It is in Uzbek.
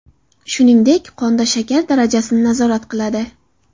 Shuningdek, qonda shakar darajasini nazorat qiladi.